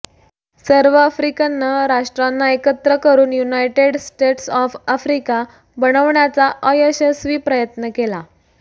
सर्व आफ्रिकनं राष्ट्रांना एकत्र करून युनायटेड स्टेट्स ऑफ आफ्रिका बनवण्याचा अयशस्वी प्रयत्न केला